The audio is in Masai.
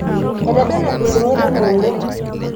Etebele empising'et enyungu.